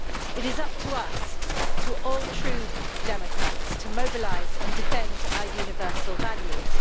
It is up to us, to all true democrats, to mobilise and defend our universal values.